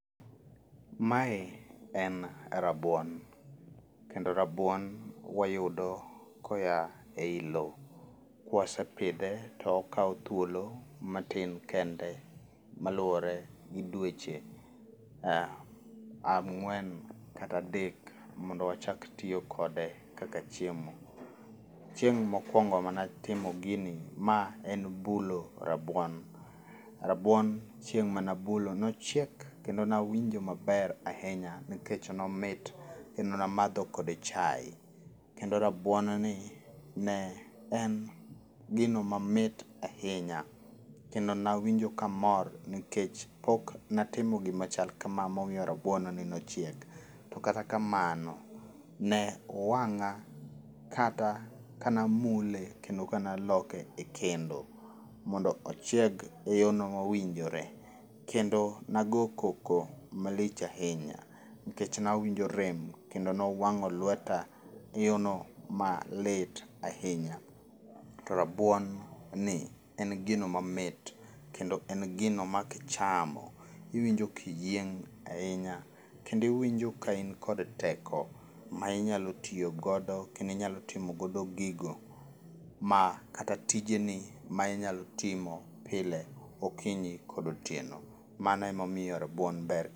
Mae en rabuon kendo rabuon wayudo koya ei lowo. kwasepidhe tokawo thuolo matin kende maluore gi dweche ang'wen kata adek mondo wachak tiyo kode kaka chiemo. Chieng' mowongo manatimo gini, ma en bulo rabuon. Rabuon chieng' manabulo nochiek kendo nawinjo maber ahinya nikech nomit ,kendo namadho kode chaye. Kendo rabuon ni ne en gino mamit ahinya. Kendo nawinjo kamor nikech pok natemo gima chal kama momiyo rabuon ni ne chiek. To kata kamano, ne owang'a kana mule kendo kanaloke e kendo mondo ochiek e yono mowinjore. Kendo nago koko malich ahinya nikech nawinjo rem kendo nowang'o lweta yono malit ahinya. To rabuon ni en gino mamit kendo en gino ma kichamo, iwinjo kiyieny ahinya kendo iwinjo ka in kod teko ma inyalo tiyo godo kendo inyalo timo godo gigo ma kata tijni, ma inyalo timo pile, okinyi kod otieno. Mano emomiyo rabuon ber.